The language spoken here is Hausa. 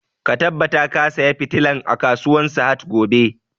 Ka tabbata ka saya fitilan a kasuwan sahad gobe!